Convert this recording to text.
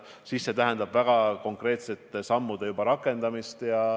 Küsimus on väga konkreetsete sammude astumises.